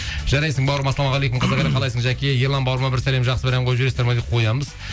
жарайсың бауырым ассалаумағалейкум қазақ елі қалайсың жәке ерлан бауырыма бір сәлем бір жақсы ән қойып жібересіздер ме қоямыз